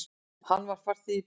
Hann var farþegi í bílnum.